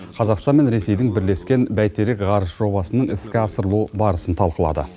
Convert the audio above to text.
қазақстан мен ресейдің бірлескен бәйтерек ғарыш жобасының іске асырылу барысын талқылады